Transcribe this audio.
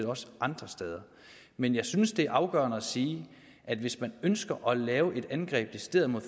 også andre steder men jeg synes det er afgørende at sige at hvis man ønsker at lave et angreb decideret mod